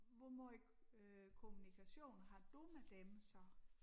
Hvor måj kommunikation har du med dem så?